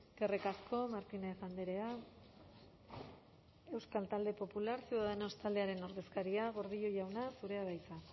eskerrik asko martínez andrea euskal talde popular ciudadanos taldearen ordezkaria gordillo jauna zurea da hitza